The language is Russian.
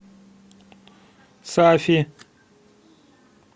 сафи